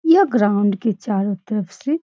यह ग्राउंड के चारो तरफ से --